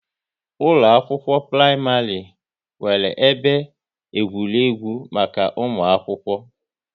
Ụkọ akwụkwọ praịmarị nwere ebe egwuregwu maka ụmụ akwụkwọ